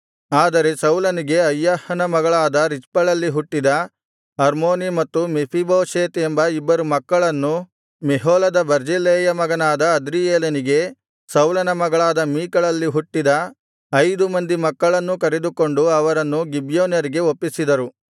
ಆದರೆ ಸೌಲನಿಗೆ ಅಯ್ಯಾಹನ ಮಗಳಾದ ರಿಚ್ಪಳಲ್ಲಿ ಹುಟ್ಟಿದ ಅರ್ಮೋನೀ ಮತ್ತು ಮೆಫೀಬೋಶೆತ್ ಎಂಬ ಇಬ್ಬರು ಮಕ್ಕಳನ್ನೂ ಮೆಹೋಲದ ಬರ್ಜಿಲ್ಲೈಯ ಮಗನಾದ ಅದ್ರಿಯೇಲನಿಗೆ ಸೌಲನ ಮಗಳಾದ ಮೀಕಲಳಲ್ಲಿ ಹುಟ್ಟಿದ ಐದು ಮಂದಿ ಮಕ್ಕಳನ್ನೂ ಕರೆದುಕೊಂಡು ಅವರನ್ನು ಗಿಬ್ಯೋನ್ಯರಿಗೆ ಒಪ್ಪಿಸಿದರು